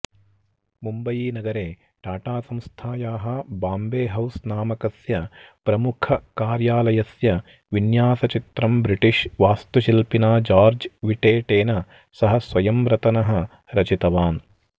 मुम्बयीनगरे टाटासंस्थायाः बाम्बेहौस् नामकस्य प्रमुखकार्यालयस्य विन्यासचित्रं ब्रिटिष् वास्तुशिल्पिना जार्ज् विटेटेन सह स्वयं रतनः रचितवान्